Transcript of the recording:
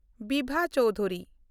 Bibha Chowdhury